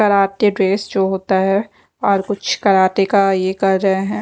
Karate dress जो होता है और कुछ कराटे का यह कर रहे हैं।